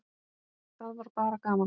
Það var bara gaman!